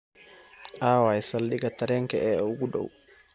aaway saldhiga tareenka ee ugu dhow